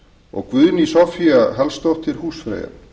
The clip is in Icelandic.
og guðný soffía hallsdóttir húsfreyja